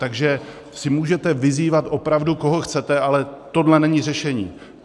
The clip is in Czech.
Takže si můžete vyzývat opravdu, koho chcete, ale tohle není řešení.